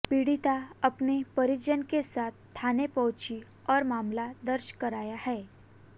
पीड़िता अपने परिजन के साथ थाने पहुंची और मामला दर्ज कराया है